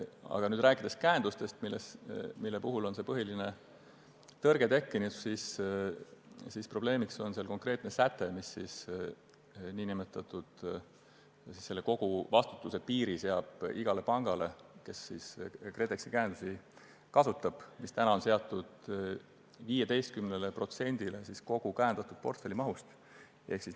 Aga rääkides käendustest, mille puhul põhiline tõrge on tekkinud, on probleemiks konkreetne säte, mis seab koguvastutuse piiri iga panga puhul, kes KredExi käendusi kasutab, 15%-le kogu käendatud portfelli mahust.